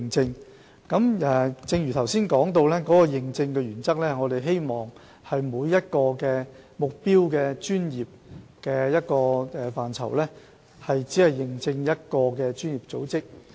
正如我剛才所說，我們的認證原則，是希望每一個目標專業只認證一個專業組織。